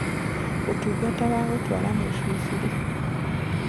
ũtũngata wa gũtwara mũcĩĩ bure